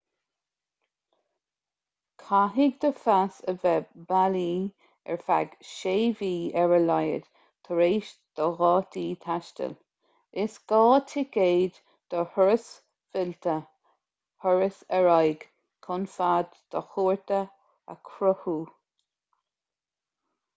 caithfidh do phas a bheith bailí ar feadh 6 mhí ar a laghad tar éis do dhátaí taistil. is gá ticéad do thuras fillte/thuras ar aghaidh chun fad do chuairte a chruthú